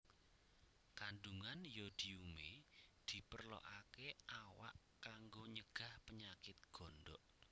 Kandungan yodiume diperlokake awak kanggo nyegah penyakit gondok